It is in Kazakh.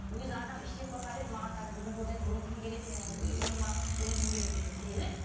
өзі адам іштей қорқа береді маған қазір бүгін көрінеді бүгін кім келеді менің ұйқыма бүгін кім келеді десе